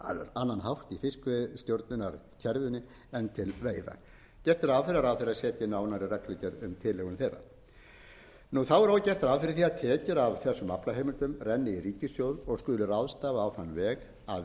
annan hátt í fiskveiðistjórnarkerfinu en til veiða gert er ráð fyrir að ráðherra setji nánari reglugerð um tilhögun þeirra þá er og gert ráð fyrir því að tekjur af þessum aflaheimildum renni í ríkissjóð og skuli ráðstafað á þann veg að